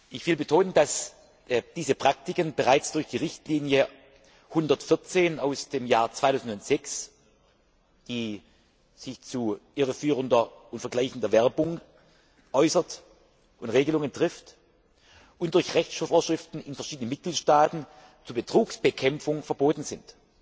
Ich will betonen, dass diese Praktiken bereits durch die Richtlinie 114 aus dem Jahr 2006, die sich zu irreführender und vergleichender Werbung äußert und Regelungen trifft, und durch Rechtsschutzvorschriften in verschiedenen Mitgliedstaaten zur Betrugsbekämpfung verboten sind.